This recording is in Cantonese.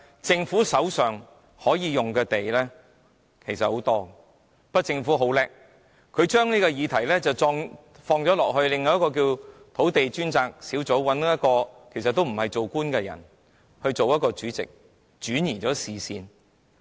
政府手上可以動用的土地其實很多，但它很聰明，把這個問題轉到土地供應專責小組身上，找來不是當官的人出任該小組的主席，以圖轉移視線。